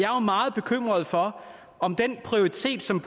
jo meget bekymret for om den prioritering som